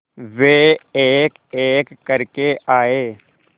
वे एकएक करके आए